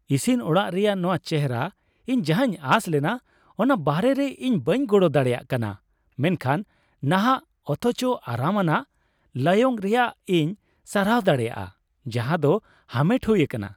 ᱤᱥᱤᱱ ᱚᱲᱟᱜ ᱨᱮᱭᱟᱜ ᱱᱟᱶᱟ ᱪᱮᱦᱨᱟ ᱤᱧ ᱡᱟᱦᱟᱧ ᱟᱸᱥ ᱞᱮᱱᱟ ᱚᱱᱟ ᱵᱟᱦᱨᱮ ᱨᱮ ; ᱤᱧ ᱵᱟᱹᱧ ᱜᱚᱲᱚ ᱫᱟᱲᱮᱭᱟᱜ ᱠᱟᱱᱟ ᱢᱮᱱᱠᱷᱟᱱ ᱱᱟᱦᱟᱜ ᱚᱛᱷᱚᱪᱚ ᱟᱨᱟᱢ ᱟᱱᱟᱜ ᱞᱟᱭᱚᱝ ᱨᱮᱭᱟᱜ ᱤᱧ ᱥᱟᱨᱦᱟᱣ ᱫᱟᱲᱮᱭᱟᱜᱼᱟ ᱡᱟᱦᱟᱸ ᱫᱚ ᱦᱟᱢᱮᱴ ᱦᱩᱭ ᱟᱠᱟᱱᱟ ᱾